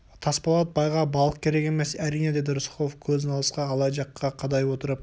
тасболат байға балық керек емес әрине деді рысқұлов көзін алысқа алай жаққа қадай отырып